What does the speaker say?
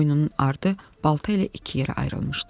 Boynunun ardı balta ilə iki yerə ayrılmışdı.